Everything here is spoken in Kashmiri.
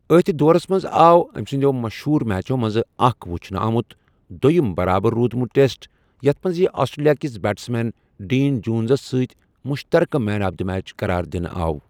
اَتھ دورَس منٛز آو أمہِ سندِیو مشہوٗر میچو منزٕ اكھ ؤچھنہٕ آمُت، دۄیِم برابر روٗدمُت ٹیسٹ، یَتھ منٛز یہِ آسٹریلیا كِس بیٹٕس مین ڈین جونزَس سۭتۍ مُشترقہٕ مین آف دی میچ قرار دِنہٕ آو ۔